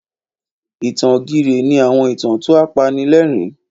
Ìtàn ògìrè ni àwọn ìtàn tó apanilẹ́rìn.